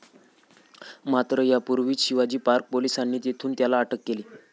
मात्र, त्यापूर्वीच शिवाजी पार्क पोलिसांनी तेथून त्याला अटक केली.